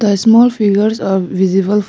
a small figures are visible.